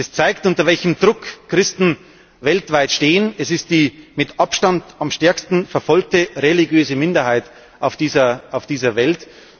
Das zeigt, unter welchem Druck Christen weltweit stehen. Es ist die mit Abstand am stärksten verfolgte religiöse Minderheit auf dieser Welt.